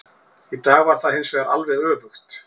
Í dag var það hinsvegar alveg öfugt.